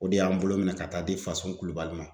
O de y'an bolo minɛ ka taa di Fasun kulubali ma.